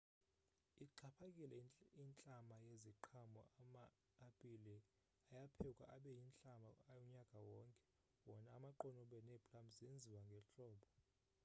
ixhaphikile intlama yeziqhamo ama-apile ayaphekwa abe yintlama unyaka wonke wona amaqunube neeplam zenziwa ngehlobo